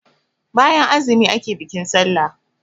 bayan azumi ake bikin sallah